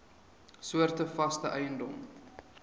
soorte vaste eiendom